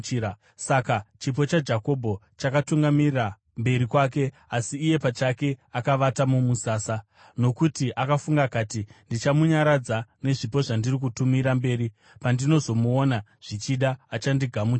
Saka chipo chaJakobho chakatungamira mberi kwake, asi iye pachake akavata mumusasa. Nokuti akafunga akati, “Ndichamunyaradza nezvipo zvandiri kutumira mberi; pandinozomuona, zvichida achandigamuchira.”